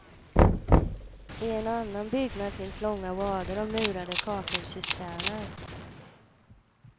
I en annan byggnad finns långa rader av murade kakelcisterner.